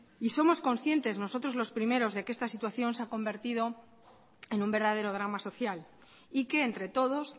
somos conscientes nosotros los primeros de que esta situación se ha convertido en un verdadero drama social y que entre todos